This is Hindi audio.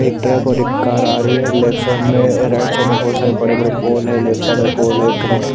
एक ट्रक और कार आ रही है लेफ्ट साइड में राइट साइड में बहुत सारे बड़े बड़े पोल है लेफ्ट साइड में पोल है--